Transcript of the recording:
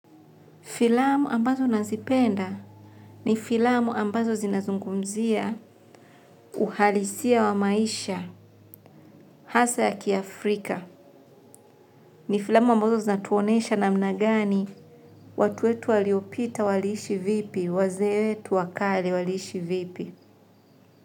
Filamu ambazo nazipenda ni filamu ambazo zinazungumzia uhalisia wa maisha hasa ya kiafrika. Ni filamu ambazo zinatuonyesha namna gani watu wetu waliopita waliishi vipi, wazee wetu wakale waliishi vipi.